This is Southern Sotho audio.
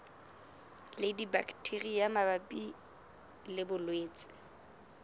le dibaktheria mabapi le bolwetse